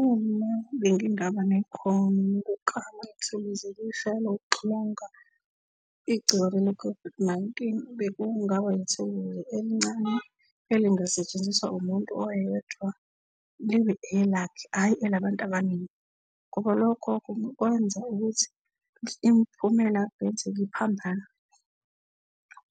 Uma bengingaba nekhono lokuklama ithuluzi elisha lokuxilonga igciwane le-COVID-19 bekungaba ithuluzi ukuze elincane elingasetshenziswa umuntu oyedwa libe elakhe, ayi elabantu abaningi ngoba lokho kungakwenza ukuthi imiphumela kungenzeka iphambane.